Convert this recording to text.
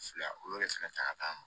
Fila olu de fana ta ka ca